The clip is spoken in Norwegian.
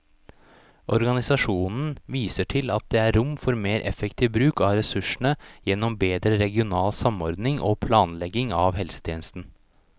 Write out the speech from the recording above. Organisasjonen viser til at det er rom for mer effektiv bruk av ressursene gjennom bedre regional samordning og planlegging av helsetjenesten.